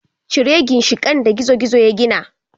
Cire ginshiƙan da gizo-gizo ya gina.